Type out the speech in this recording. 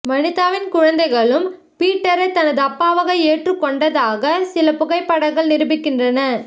வனிதாவின் குழந்தைகளும் பீட்டரை தனது அப்பாவாக ஏற்றுக் கொண்டதாக சில புகைப் படங்கள் நிரூபிக்கின்றன